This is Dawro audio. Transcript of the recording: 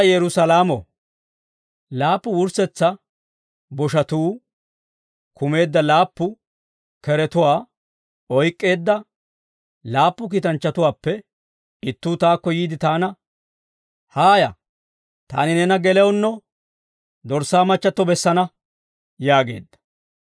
Laappu wurssetsa boshatuu kumeedda laappu keretuwaa oyk'k'eedda laappu kiitanchchatuwaappe ittuu taakko yiide taana, «Haaya. Taani neena gelewunno Dorssaa machchatto bessana» yaageedda.